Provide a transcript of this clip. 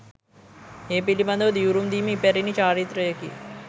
ඒ පිළිබඳ දිවුරුම් දීම ඉපැරැණි චාරිත්‍රයකි.